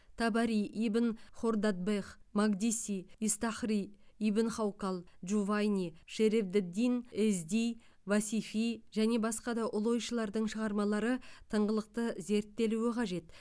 табари ибн хордадбех макдиси истахри ибн хаукал джувайни шереф д дин эзди васифи және басқа да ұлы ойшылдардың шығармалары тыңғылықты зерттелуі қажет